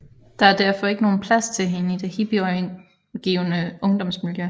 Der er derfor ikke nogen plads til hende i det hippe omgivende ungdomsmiljø